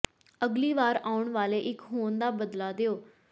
ਅਗਲੀ ਵਾਰ ਆਉਣ ਵਾਲੇ ਇੱਕ ਹੋਣ ਦਾ ਬਦਲਾ ਲਓ